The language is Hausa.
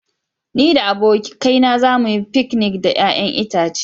Ni da abokaina za mu yi fikinik da 'ya'yan itace.